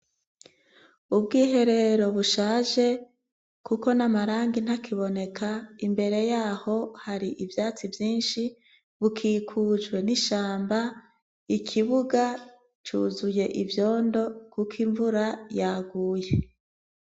Ubwiherero bushaje kuko n'amarangi ntakiboneka, imbere yaho hari ivyatsi vyinshi bukikujwe n'ishamba ikibuga cuzuye ivyondo kuko imvura yaguye.